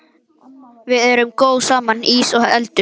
Við erum góð saman, ís og eldur.